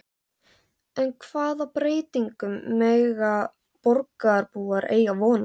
En hvaða breytingum mega borgarbúar eiga von á?